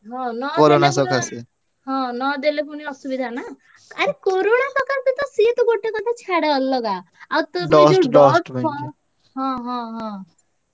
ହଁ ନହେଲେ ହଁ ନଦେଲେ ପୁଣି ଅସୁବିଧା ନା। ଆରେ corona ସକାସେ ତ ସିଏ ତ ଗୋଟେ କଥା ଛାଡ ଅଲଗା। ଆଉ ହଁ ହଁ ହଁ ସେ ଯୋଉ ଅସନା ମସନା ଯୋଉ ସବୁ ଆସିକି ନିଃଶ୍ଵାସରେ ପଶିବ ନା ଯାହାହେଲେ mask।